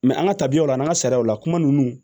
an ka tabiyaw la an ka sariyaw la kuma ninnu